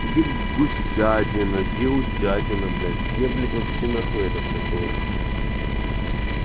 где гусятина где утятина блять где блять вообще нахуй этот как его